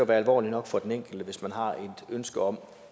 være alvorligt nok for den enkelte hvis man har et ønske om